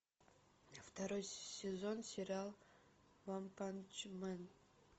второй сезон сериал ванпанчмен